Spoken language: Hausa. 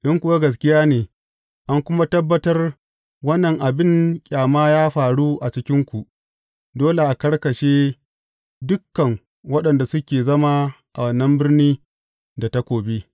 In kuwa gaskiya ne, an kuma tabbatar wannan abin ƙyama ya faru a cikinku, dole a karkashe dukan waɗanda suke zama a wannan birni da takobi.